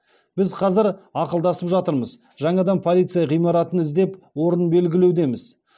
біз қазір ақылдасып жатырмыз жаңадан полиция ғимаратын іздеп орнын белгілеудеміз